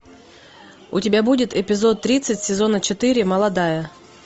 у тебя будет эпизод тридцать сезона четыре молодая